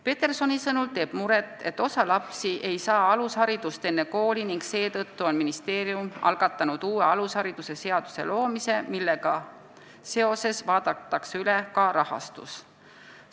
Petersoni sõnul teeb muret, et osa lapsi enne kooli alusharidust ei saa, ning seetõttu on ministeerium algatanud uue alushariduse seaduse loomise, millega seoses vaadatakse üle ka rahastus.